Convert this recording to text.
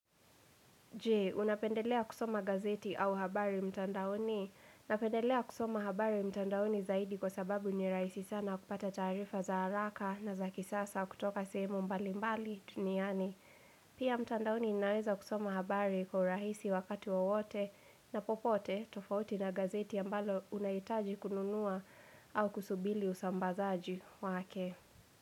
Je, unapendelea kusoma gazeti au habari mtandaoni? Napendelea kusoma habari mtandaoni zaidi kwa sababu niraisi sana kupata taarifa za haraka na za kisasa kutoka sehemu mbali mbali tuniani. Pia mtandaoni inaweza kusoma habari kwa urahisi wakati wowote na popote tofauti na gazeti ambalo unaitaji kununua au kusubili usambazaji wake.